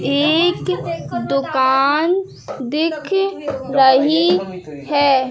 एक दुकान दिख रही है।